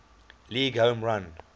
league home run